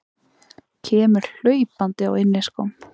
Kemur hlaupandi á inniskóm.